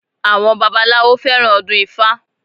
Àwọn babaláwo fẹ́ràn ọdún ifá